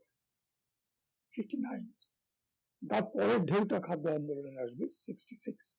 fifty-nine তারপরের ঢেউটা খাদ্য আন্দোলনের আসবে fifty-six